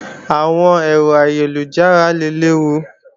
Àwọn ẹ̀rọ ayélujára lè léwu